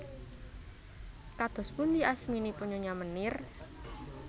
Kados pundi asminipun Nyonya Meneer